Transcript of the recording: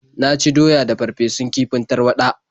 Na ci doya da farfesun kifin tarwaɗa.